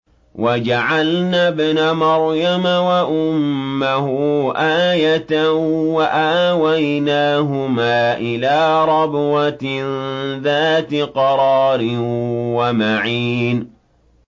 وَجَعَلْنَا ابْنَ مَرْيَمَ وَأُمَّهُ آيَةً وَآوَيْنَاهُمَا إِلَىٰ رَبْوَةٍ ذَاتِ قَرَارٍ وَمَعِينٍ